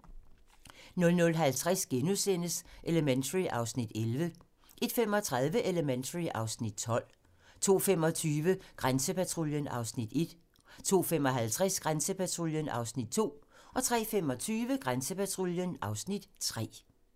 00:50: Elementary (Afs. 11)* 01:35: Elementary (Afs. 12) 02:25: Grænsepatruljen (Afs. 1) 02:55: Grænsepatruljen (Afs. 2) 03:25: Grænsepatruljen (Afs. 3)